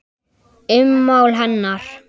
Ummál hennar